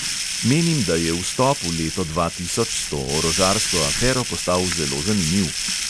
Menim, da je vstop v leto dva tisoč s to orožarsko afero postal zelo zanimiv.